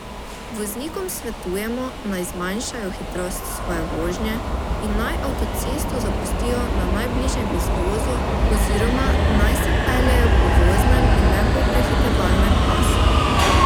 Voznikom svetujemo, naj zmanjšajo hitrost svoje vožnje in naj avtocesto zapustijo na najbližjem izvozu oziroma naj se peljejo po voznem in ne po prehitevalnem pasu.